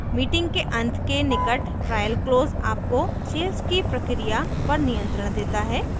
meeting के अंत के निकट ट्रायल क्लोज़ आपको सेल्स की प्रक्रिया पर नियंत्रण देता है